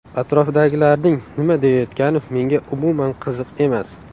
Atrofdagilarning nima deyayotgani menga umuman qiziq emas.